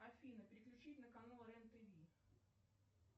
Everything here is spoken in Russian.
афина переключить на канал рен тв